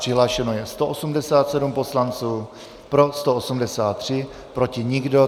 Přihlášeno je 187 poslanců, pro 183, proti nikdo.